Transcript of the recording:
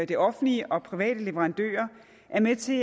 det offentlige og private leverandører er med til